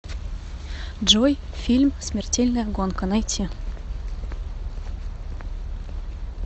джой фильм смертельная гонка найти